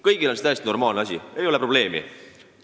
Kõigi arvates on see täiesti normaalne asi – ei ole probleemi.